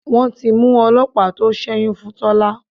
Wọ́n ti mú ọlọ́pàá tó sẹ́yún fún Tọ́lá.